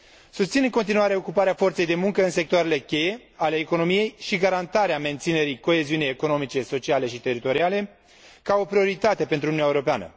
Susțin în continuare ocuparea forței de muncă în sectoarele cheie ale economiei și garantarea menținerii coeziunii economice, sociale și teritoriale ca o prioritate pentru Uniunea Europeană.